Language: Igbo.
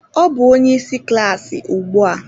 Ọ bụ onye isi klaasị ugbu a